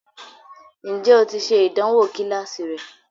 Ǹjẹ́ o ti ṣe ìdánwò kíláàsì rẹ?